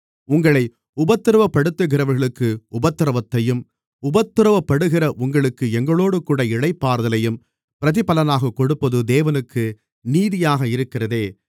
உங்களை உபத்திரவப்படுத்துகிறவர்களுக்கு உபத்திரவத்தையும் உபத்திரவப்படுகிற உங்களுக்கு எங்களோடுகூட இளைப்பாறுதலையும் பிரதிபலனாகக்கொடுப்பது தேவனுக்கு நீதியாக இருக்கிறதே